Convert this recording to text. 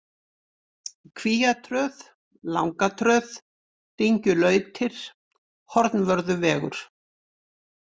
Kvíatröð, Langatröð, Dyngjulautir, Hornvörðuvegur